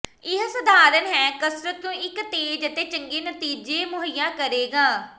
ਇਹ ਸਧਾਰਨ ਹੈ ਕਸਰਤ ਨੂੰ ਇੱਕ ਤੇਜ਼ ਅਤੇ ਚੰਗੇ ਨਤੀਜੇ ਮੁਹੱਈਆ ਕਰੇਗਾ